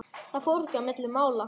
Það fór ekki milli mála.